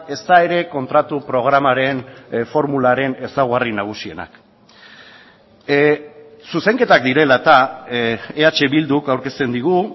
ezta ere kontratu programaren formularen ezaugarri nagusienak zuzenketak direla eta eh bilduk aurkezten digu